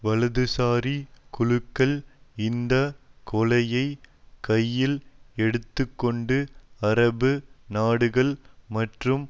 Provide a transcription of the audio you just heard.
வலதுசாரி குழுக்கள் இந்த கொலையை கையில் எடுத்து கொண்டு அரபு நாடுகள் மற்றும்